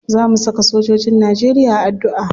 Za mu saka sojojin najeriya a addu'a.